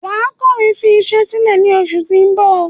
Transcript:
Wàá kọ̀wé fi isẹ́ sílẹ̀ ní oṣù ti ń bò